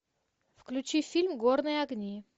включи фильм горные огни